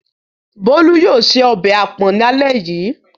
Bolu yóò se ọbẹ̀ àpọ̀n lálẹ́ yìí.